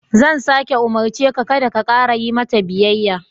Zan sāke umurce ka, kada ka ƙara yi mata biyayya.